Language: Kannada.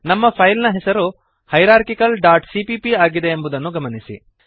ನಮ್ಮ ಫೈಲ್ ನ ಹೆಸರು ಹೈರಾರ್ಕಿಕಲ್ ಡಾಟ್ ಸಿಪಿಪಿ ಆಗಿದೆ ಎಂಬುದನ್ನು ಗಮನಿಸಿರಿ